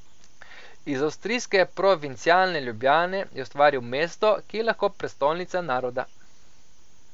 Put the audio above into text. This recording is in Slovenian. Iz avstrijske provincialne Ljubljane je ustvaril mesto, ki je lahko prestolnica naroda.